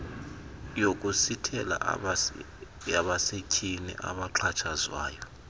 yokusithela yabasetyhini abaxhatshazwayo